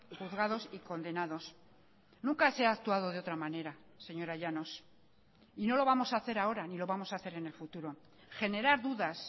juzgados y condenados nunca se ha actuado de otra manera señora llanos y no lo vamos a hacer ahora ni lo vamos a hacer en el futuro generar dudas